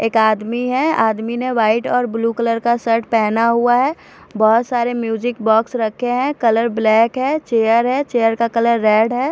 एक आदमी है आदमी ने व्हाइट और ब्लू कलर का शर्ट पहना हुआ है बहुत सारे म्यूज़िक बॉक्स रखे हैं कलर ब्लैक है चेयर है चेयर का कलर रेड है।